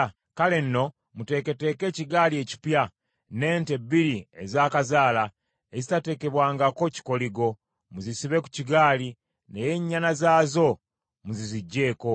“Kale nno, muteeketeeke ekigaali ekipya, n’ente bbiri ezaakazaala, ezitateekebwangako kikoligo, muzisibe ku kigaali, naye ennyana zaazo muziziggyeeko.